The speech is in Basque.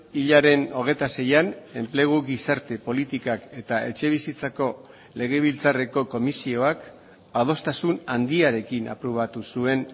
hilaren hogeita seian enplegu gizarte politikak eta etxebizitzako legebiltzarreko komisioak adostasun handiarekin aprobatu zuen